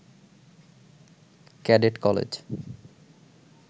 cadet college